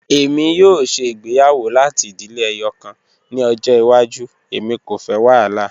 Emi yoo ṣe igbeyawo lati idile ẹyọkan ni ọjọ iwaju, emi ko fẹ wahala.